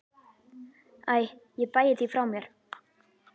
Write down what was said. Æ ég bægi því frá mér.